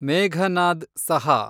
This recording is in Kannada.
ಮೇಘನಾದ್ ಸಹಾ